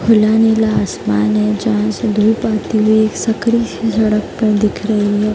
खुला नीला आसमान है जहाँ से धूप आती है। एक सकरी सड़क पर दिख रही है।